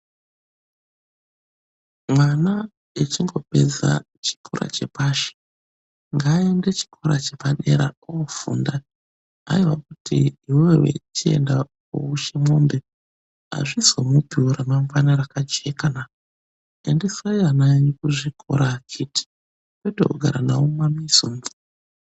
Mwana echingopedza chikora chepashi, ngaaende chikora chepadera oofunda. Haiwa kuti iwewe chienda ooushe mombe, hazvizomupiwo ramangwana rakajekana. Endesai ana anyu kuzvikora akiti, kwete kugara nawo mumwamizi umwu.